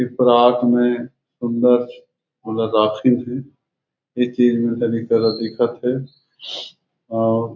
एक परात में सुन्दर ओला राखिन हे करा दिखत हे आउ--